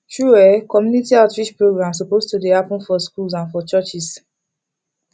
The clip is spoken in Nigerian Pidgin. true eh community outreach programs suppose to dey happen for schools and for churches